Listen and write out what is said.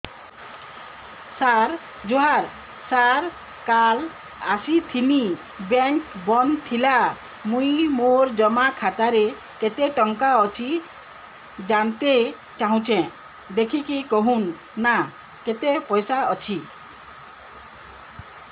ସାର ଜୁହାର ସାର କାଲ ଆସିଥିନି ବେଙ୍କ ବନ୍ଦ ଥିଲା ମୁଇଁ ମୋର ଜମା ଖାତାରେ କେତେ ଟଙ୍କା ଅଛି ଜାଣତେ ଚାହୁଁଛେ ଦେଖିକି କହୁନ ନା କେତ ପଇସା ଅଛି